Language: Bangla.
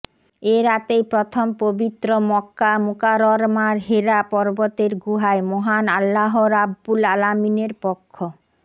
এ রাতেই প্রথম পবিত্র মক্কা মুকাররমার হেরা পর্বতের গুহায় মহান আল্লাহ রাব্বুল আলামিনের পক্ষ